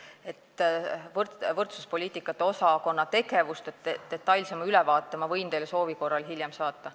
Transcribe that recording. Detailsema ülevaate võrdsuspoliitikate osakonna tegevuste kohta võin ma teile soovi korral hiljem saata.